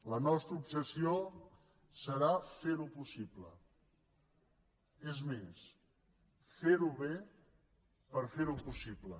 la nostra obsessió serà ferho possible és més ferho bé per ferho possible